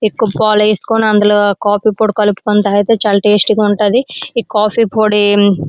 ఎక్కువ పాలు వేసుకొని అందిలో కాఫీ పొడి కలుపుకొని తాగేతే చాలా టేస్టీ గా ఉంటాది. ఈ కాఫీ పొడి--